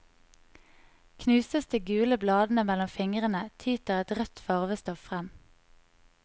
Knuses de gule bladene mellom fingrene, tyter et rødt farvestoff frem.